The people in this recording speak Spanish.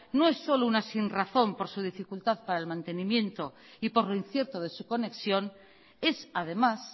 no es solo una sinrazón por su dificultad para el mantenimiento y por lo incierto de su conexión es además